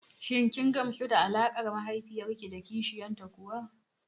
Shin kin gamsu da alaƙar mahaifiyar ki da kishiyar ta kuwa?